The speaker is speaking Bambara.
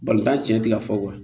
Balontan tiɲɛ tɛ ka fɔ